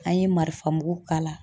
An ye marifa mugu k'a la.